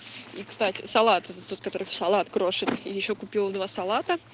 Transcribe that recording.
и кстати салаты это тот который салат крошет и ещё купила два салата